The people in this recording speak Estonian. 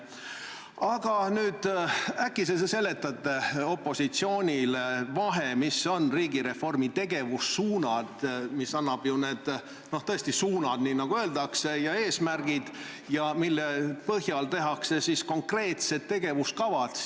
Aga äkki sa seletad opositsioonile vahet, mis on riigireformi tegevussuunad, mis annavad ju ette tõesti need suunad, nagu öeldakse, ja eesmärgid ning mille põhjal tehakse konkreetsed tegevuskavad?